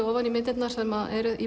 ofan í myndirnar sem eru í